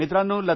मित्रांनो